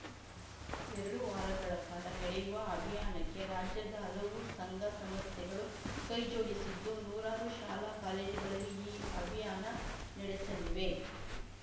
ಎರಡು ವಾರಗಳ ಕಾಲ ನೆಡೆಯುವ ಅಭಿಯಾನಕ್ಕೆ ರಾಜ್ಯದ ಹಲವು ಸಂಘಸಂಸ್ಥೆಗಳು ಕೈಜೋಡಿಸಿದ್ದು ನೂರಾರು ಶಾಲಾಕಾಲೇಜುಗಳಲ್ಲಿ ಈ ಅಭಿಯಾನ ನೆಡೆಸಲಿವೆ